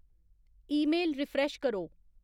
email refresh करो